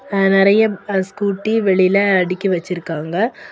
ஆ நறைய அ ஸ்கூட்டி வெளியில அடுக்கி வெச்சிருக்காங்க.